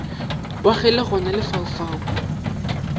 wa ge le gona lefaufau